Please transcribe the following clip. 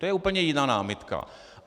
To je úplně jiná námitka.